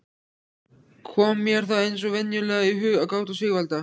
Kom mér þá eins og venjulega í hug gáta Sigvalda